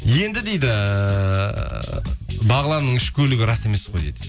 енді дейді бағланның үш көлігі рас емес қой дейді